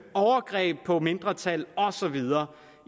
overgreb på mindretal og så videre